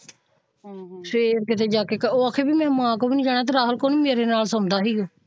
ਫ਼ੇਰ ਕਿੱਥੇ ਜਾ ਕੇ ਉਹ ਆਖੇ ਮੈਂ ਮਾਂ ਕੋਲੋਂ ਵੀ ਨਹੀਂ ਜਾਣਾ ਤੇ ਰਾਹੁਲ ਕੋਲ ਵੀ ਮੇਰੇ ਨਾਲ ਸੋਂਦਾ ਸੀ ਗੇ ਹਮ